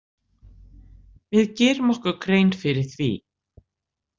Við gerum okkur grein fyrir því.